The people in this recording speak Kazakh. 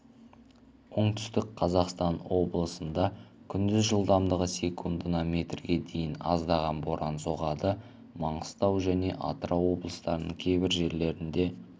оңтүстік қазақстан облысында тұман түсіп түнде және таңертең жылдамдығы секундына метрге дейін екпіні күшті жел соғады